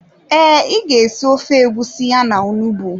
Ee, ị ga-esi ofe egusi ya na onugbu.